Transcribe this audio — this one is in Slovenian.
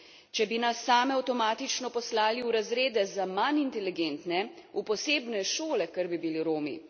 Če bi nas same avtomatično poslali v razrede za manj inteligentne, v posebne šole, ker bi bili Romi.